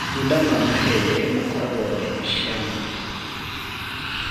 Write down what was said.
matũnda ma mahembe makoragwo mena ciama